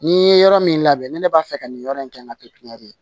N'i ye yɔrɔ min labɛn ne b'a fɛ ka nin yɔrɔ in kɛ ŋa pipiniyɛri